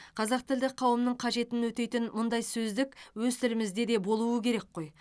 қазақ тілді қауымның қажетін өтейтін мұндай сөздік өз тілімізде де болуы керек қой